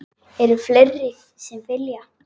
Eru fleiri sem vilja?